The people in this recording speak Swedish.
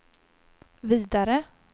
vidare